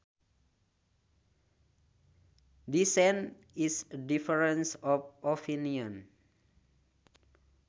Dissent is a difference of opinion